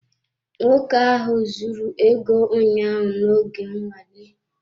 Nwoke ahụ zuru ego ụnyaahụ nọ oge nnwale.